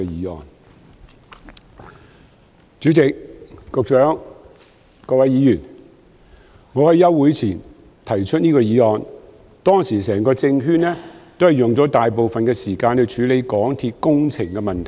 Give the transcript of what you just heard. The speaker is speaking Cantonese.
代理主席、局長、各位議員，我在暑期休會前提出這項議案，當時整個政圈花了大部分時間處理香港鐵路有限公司的工程問題。